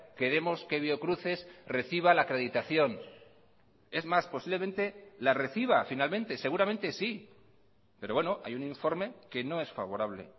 queremos que biocruces reciba la acreditación es más posiblemente la reciba finalmente seguramente sí pero bueno hay un informe que no es favorable